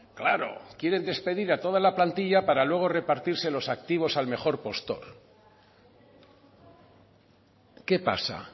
claro quieren despedir a toda la plantilla para luego repartirse los activos al mejor postor qué pasa